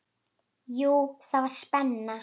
Jú, það var spenna.